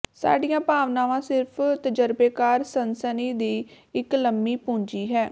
ਸਾਡੀਆਂ ਭਾਵਨਾਵਾਂ ਸਿਰਫ ਤਜ਼ਰਬੇਕਾਰ ਸਨਸਨੀ ਦੀ ਇਕ ਲੰਮੀ ਪੂੰਜੀ ਹੈ